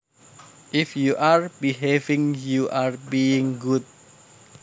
If you are behaving you are being good